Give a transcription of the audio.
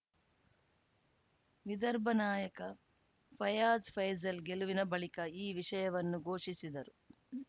ವಿದರ್ಭ ನಾಯಕ ಫೈಯಾಜ್‌ ಫೈಜಲ್‌ ಗೆಲುವಿನ ಬಳಿಕ ಈ ವಿಷಯವನ್ನು ಘೋಷಿಸಿದರು